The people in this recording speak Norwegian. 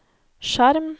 skjerm